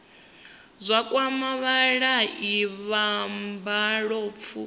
zwa kwama vhavhali vha mabofu